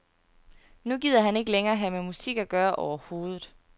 Nu gider han ikke længere have med musik at gøre overhovedet.